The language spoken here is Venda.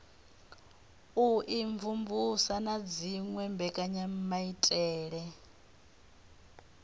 u imvumvusa na dziwe mbekanyamaitele